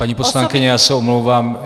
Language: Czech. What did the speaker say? Paní poslankyně, já se omlouvám.